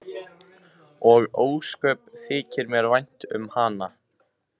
Og ósköp þykir mér vænt um hana.